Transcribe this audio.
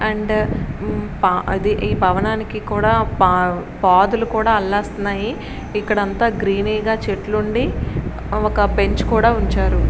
And అది the భవనానికి కూడా పొదలు కూడా అల్లేస్తున్నాయి. ఇక్కడ అంత గ్రీనీ గా చెట్లుండి ఒక బెంచ్ కూడా ఉంచారు.